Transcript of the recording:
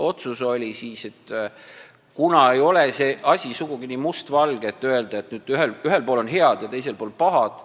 See asi ei ole sugugi nii mustvalge, et öelda, et ühel pool on head ja teisel pool pahad.